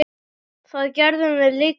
Það gerðum við líka.